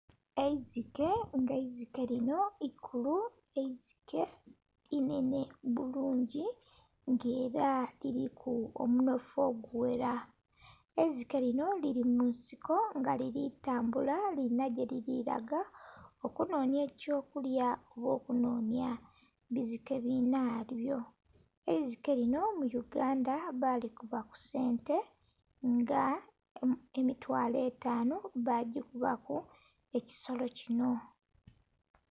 "Eizike" nga "eizike" linho ikulu, "eizike" inhenhe bulungi nga era liriku omunhofu ogughera. "Eizike" linho liri munsiko nga liritambula lirinha gyeriraga okunhonhya ekyokulya oba okunhonhya "bizike" binhabyo. "Eizike" linho mu uganda balikuba kusente nga emitwalo etanhu bagikubaku.